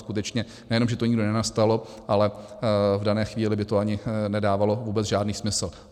Skutečně, nejenom že to nikdy nenastalo, ale v dané chvíli by to ani nedávalo vůbec žádný smysl.